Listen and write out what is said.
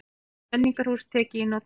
Menningarhús tekið í notkun